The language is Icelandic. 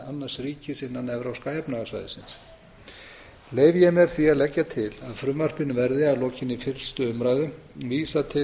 annars ríkis innan evrópska efnahagssvæðisins leyfi ég mér því að leggja til að frumvarpinu verði að lokinni fyrstu umræðu vísað til